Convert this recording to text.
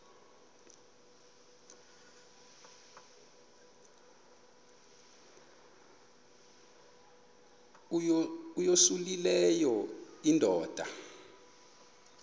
uyosele leyo indoda